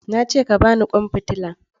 Na ce ka ba ni kwan fitila!